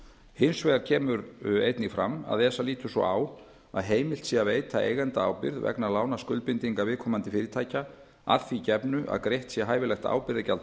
hins vegar kemur einnig fram að esa lítur svo á að heimilt sé að veita eigendaábyrgð vegna lánaskuldbindinga viðkomandi fyrirtækja að því gefnu að greitt sé hæfilegt ábyrgðargjald